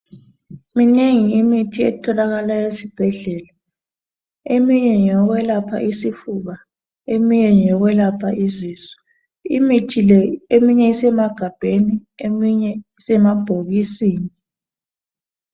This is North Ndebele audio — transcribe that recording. Minengi imithi etholakala esibhedlela eminye ngeyokwelapha isifuba eminye ngeyokwelapha isisu imithi le eminye isemagabheni eminye isemabhokisini